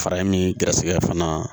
Fara in gɛrisigɛ fana